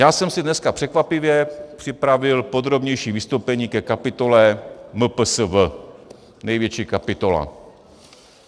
Já jsem si dneska překvapivě připravil podrobnější vystoupení ke kapitole MPSV, největší kapitola.